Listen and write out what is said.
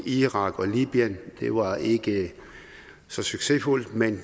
iran og libyen det var ikke så succesfuldt men